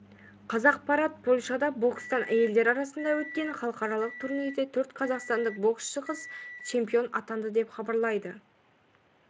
қазақпарат польшада бокстан әйелдер арасында өткен халықаралық турнирде төрт қазақстандық боксшы қыз чемпион атанды деп хабарлайды